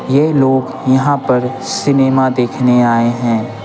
यह लोग यहाँ पर सिनेमा देखने आए हैं।